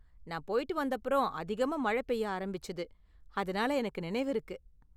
நான் போய்ட்டு வந்தப்புறம் அதிகமா மழை பெய்ய ஆரம்பிச்சது, அதனால எனக்கு நினைவிருக்கு.